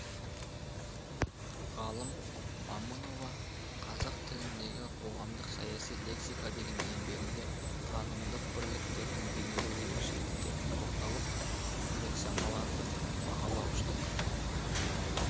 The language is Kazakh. ғалым момынова қазақ тіліндегі қоғамдық саяси лексика деген еңбегінде танымдық бірліктердің бейнелеу ерекшеліктеріне тоқталып лексемалардың бағалауыштық